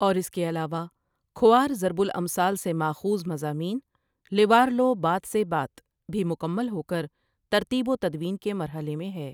اور اس کے علاوہ کھوار ضرب الامثال سے ماخوذ مضامین لوارلو بات سے بات، بھی مکمل ہوکر ترتیب وتدوین کے مرحلے میں ہے ۔